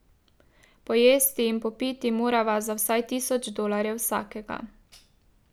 Pojesti in popiti morava za vsaj tisoč dolarjev vsakega.